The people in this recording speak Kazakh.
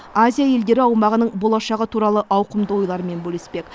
азия елдері аумағының болашағы туралы ауқымды ойларымен бөліспек